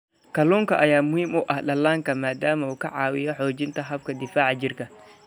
Kalluunka ayaa muhiim u ah dhallaanka maadaama uu ka caawiyo xoojinta habka difaaca jirka.